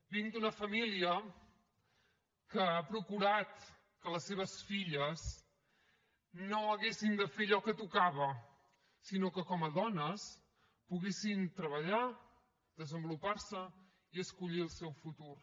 vinc d’una família que ha procurat que les seves filles no haguessin de fer allò que tocava sinó que com a dones poguessin treballar desenvolupar se i escollir el seu futur